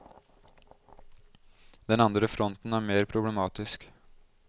Den andre fronten er mer problematisk.